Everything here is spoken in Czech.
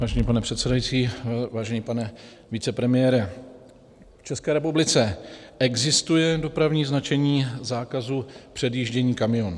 Vážený pane předsedající, vážený pane vicepremiére, v České republice existuje dopravní značení zákazu předjíždění kamionů.